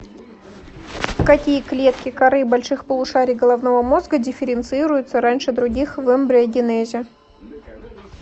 какие клетки коры больших полушарий головного мозга дифференцируются раньше других в эмбриогенезе